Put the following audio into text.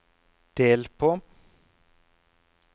del på